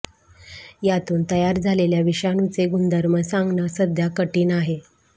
यातून तयार झालेल्या विषाणूचे गुणधर्म सांगणं सध्या कठिण आहे